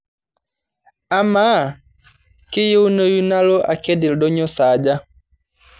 amaa kaayieunoyu nalo aked oldonyio saaja